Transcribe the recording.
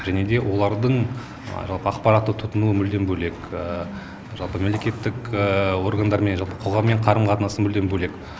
және де олардың жалпы ақпаратты тұтынуы мүлдем бөлек жалпы мемлекеттік органдармен жалпы қоғаммен қарым қатынасы мүлдем бөлек